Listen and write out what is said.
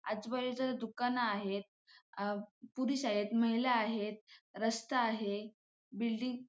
आजूबाजूचे जे दुकान आहेत पुरुष आहेत महिला आहेत रस्ता आहे बिल्डिंग --